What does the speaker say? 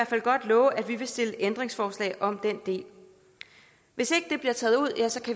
fald godt love at vi vil stille ændringsforslag om den del hvis